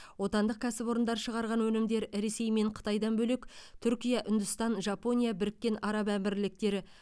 отандық кәсіпорындар шығарған өнімдер ресей мен қытайдан бөлек түркия үндістан жапония біріккен араб әмірліктері